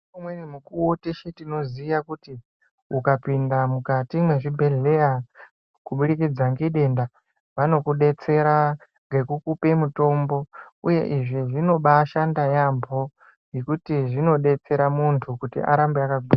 Nge umweni mukuwo teshe tinoziya kuti uka pinda mukati mwe zvibhedhleya kubudikidza nge denda vanoku detsera ngeku kupe mutombo uye izvi zvinobai shanda yambo ngekuti zvino detsera muntu kuti arambe aka gwinya.